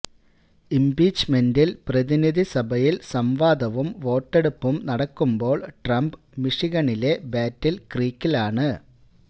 ഇംപീച്ച്മെന്റിൽ പ്രതിനിധിസഭയിൽ സംവാദവും വോട്ടെടുപ്പും നടക്കുമ്പോൾ ട്രംപ് മിഷിഗണിലെ ബാറ്റിൽ ക്രീക്കിലാണ്